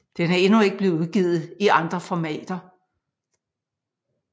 Den er endnu ikke blevet udgivet i andre formater